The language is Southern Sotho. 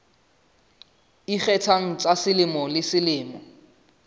ikgethang tsa selemo le selemo